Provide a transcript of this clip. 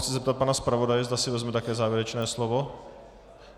Chci se zeptat pana zpravodaje, zda si vezme také závěrečné slovo.